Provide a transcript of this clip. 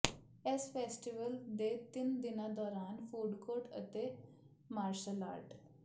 ਇਸ ਫੈਸਟੀਵਲ ਦੇ ਤਿੰਨ ਦਿਨਾਂ ਦੌਰਾਨ ਫੂਡ ਕੋਰਟ ਅਤੇ ਮਾਰਸ਼ਲ ਆਰਟ